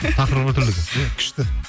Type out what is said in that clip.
тақырыбы бір түрлі екен иә күшті